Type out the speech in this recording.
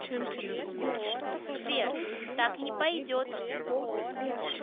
сбер так не пойдет